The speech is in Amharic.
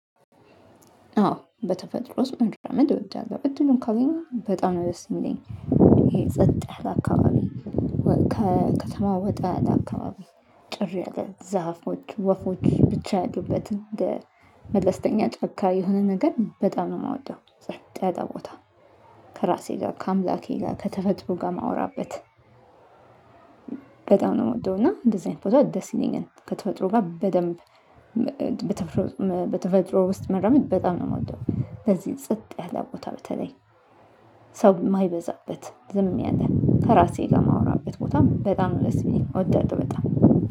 አዎ በተፈጥሮ ውስጥ ምን ትወድዳለሁ? እድሉን ካገኘሁ በጣም ነው ደስ የሚለኝ። ይሄ ጸጥህ አካባቢ ከተማ ወጣ አካባቢ ጭር ያለ ዛፎች፣ ወፎች ብቻ፣ ያሉበት እንደ መለስተኛ ጫካ የሆነ ነገር በጣም ነው የማወደው። ጸጥ ቦታ ከራሴ ጋር ከአምላኬ ጋር ከተፈጥሮ ጋር ማውራበት በጣም ነው የምወደው። እና እንደዚህ አይነት ፎቶ ደስ ይለኛል። ከተፈጥሮ ጋር በደንብ በተፈጥሮ ውስጥ መራመድ በጣም ነው የምወደው። ለዚህ ጽጥ ያለ ቦታ በተለይ ሰው የማይበዛበት ዝም ያለ። ከራሴ ጋር ማውራበት ቦታ በጣም ደስ ሚለን እወዳለሁ በጣም።